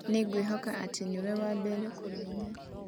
Nĩ ngwĩhoka atĩ nĩ we wa mbere kũmenya.